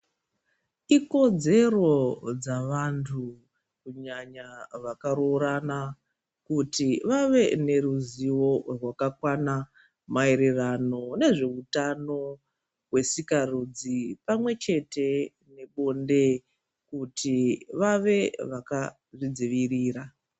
Iko dzedzero dzevantu kunyanya vakaroorana kuti vave neruzivo rwakakwana maererano nezveutano wesikarudzi pamwe chete nebonde kuti vave vaka zvidziirira.